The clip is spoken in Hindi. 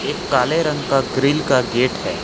काले रंग का ग्रिल का गेट है।